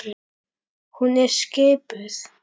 Hún er skipuð.